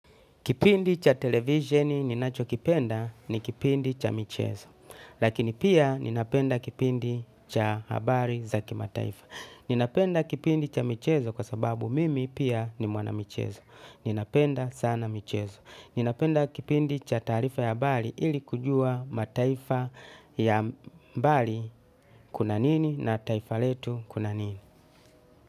Kipindi cha televisioni ninachokipenda ni kipindi cha michezo. Lakini pia ninapenda kipindi cha habari za kimataifa. Ninapenda kipindi cha michezo kwa sababu mimi pia ni mwana michezo. Ninapenda sana michezo. Ninapenda kipindi cha taarifa ya habari ili kujua mataifa ya mbali kuna nini na taifa letu kuna nini.